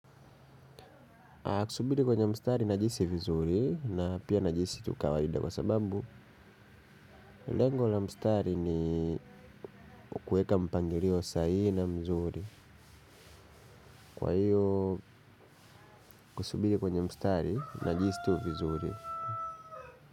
Kusubiri kwenye mstari najihisi vizuri na pia najihisi tu kawaida kwa sababu lengo la mstari ni kuweka mpangilio saa ile mzuri. Kwa hiyo kusubiri kwenye mstari najihisi tu vizuri.